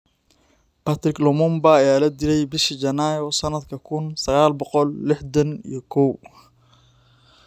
Patrice Lumbumba ayaa la dilay bishii Janaayo sanadka kun sagal boqol lixdaan iyo kow.